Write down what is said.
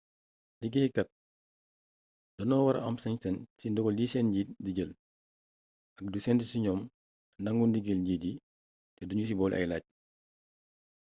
liggéey kaat doño wara am sañ-sañ ci dogal yi sen njiit di jël ak di sentu ci ñom nangu ndigal njiit yi te duñu ci bole ay lacc